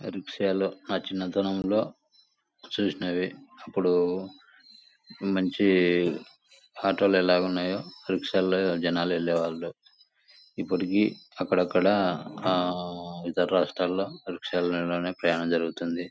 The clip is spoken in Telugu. ఆ రిక్షా లో న చిన్న తనంలో చూసినవి. అప్పుడు మంచి ఆటో లు ఎలా ఉన్నాయో రిక్షా లో జనాలు వెళ్ళేవాళ్ళు. ఇప్పటికి అక్కడ అక్కడ అహ్హ్ ఇతర రాష్ట్రాలు లో రిక్షా మీద ప్రయాణం జరుగుతుంది.